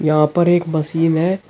यहां पर एक मशीन है।